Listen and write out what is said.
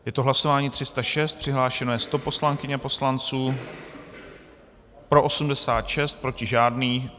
Je to hlasování 306, přihlášeno je 100 poslankyň a poslanců, pro 86, proti žádný.